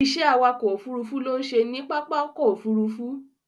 Ìṣe awakọ̀ ófurufú ló ń ṣe ní pápá ọkọ̀ Òfurufú.